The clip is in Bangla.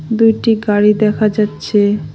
দুইটি গাড়ি দেখা যাচ্ছে।